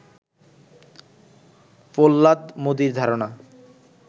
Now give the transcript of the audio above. প্রহ্লাদ মোদির ধারণা